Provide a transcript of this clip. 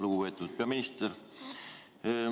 Lugupeetud peaminister!